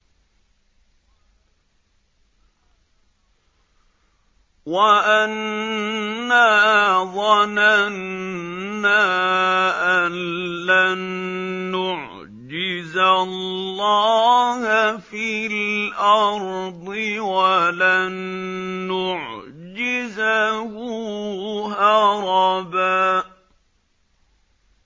وَأَنَّا ظَنَنَّا أَن لَّن نُّعْجِزَ اللَّهَ فِي الْأَرْضِ وَلَن نُّعْجِزَهُ هَرَبًا